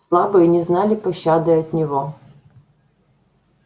слабые не знали пощады от него